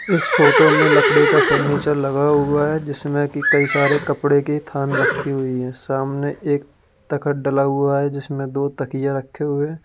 इस फोटो में लकड़ी का फर्नीचर लगा हुआ है जिसमें कि कई सारे कपड़े के थान रखी हुई है सामने एक तख्त डला हुआ है जिसमें दो तकिया रखे हुए।